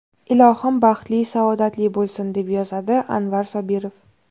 Ilohim baxtli, saodatli bo‘lsin”, deb yozadi Anvar Sobirov.